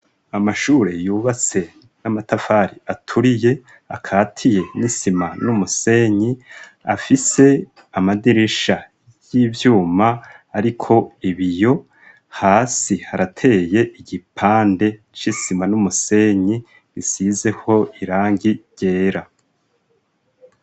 Amashure yubatse n'amatafari aturiye akatiye n'isima n'umusenyi afise amadirisha y'ivyuma ariko ibiyo hasi harateye igipande c'isima n'umusenyi gisizeho irangi ryera.